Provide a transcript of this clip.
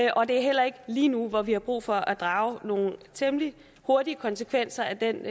og det er heller ikke lige nu hvor vi har brug for at drage nogle temmelig hurtige konsekvenser af den